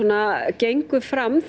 gengur fram